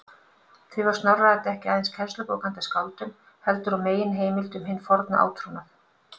Því var Snorra-Edda ekki aðeins kennslubók handa skáldum, heldur og meginheimild um hinn forna átrúnað.